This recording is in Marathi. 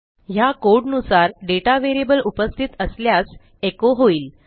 ह्या कोड नुसार दाता व्हेरिएबल उपस्थित असल्यास एचो होईल